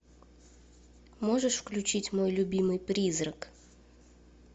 можешь включить мой любимый призрак